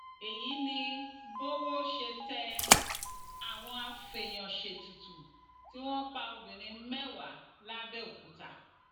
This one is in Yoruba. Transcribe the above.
èyí ni bówó ṣe tẹ àwọn afèèyànṣètùtù tí wọn pa obìnrin mẹwàá làbẹòkúta